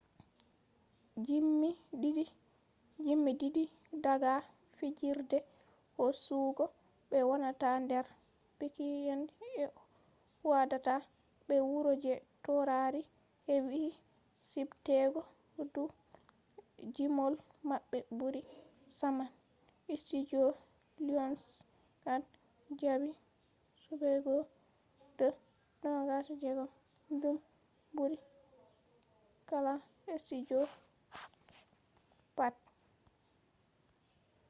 gimee didii daga fijirde hosugo be wonata nder bilki’en je hoidata be wuro je taurari hebii subtegoo dou gimol mabbe buri saman.studio lionsgate jabii subego de 26 –dum burii kala studio pat